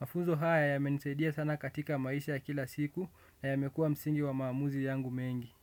Mafunzo haya yamenisaidia sana katika maisha ya kila siku na yamekuwa msingi wa maamuzi yangu mengi.